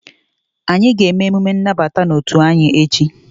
Anyị ga-eme emume nnabata n'otu anyị echi